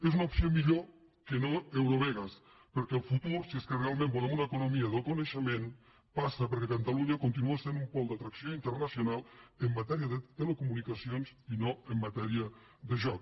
és una opció millor que no eurovegas perquè el futur si és que realment volem una economia del coneixement passa perquè catalunya continuï sent un pol d’atracció internacional en matèria de telecomunicacions i no en matèria de joc